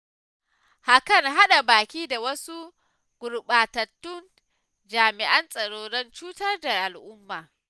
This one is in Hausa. Akan haɗa baki da wasu gurɓatattun jami'an tsaron don cutar da al'umma.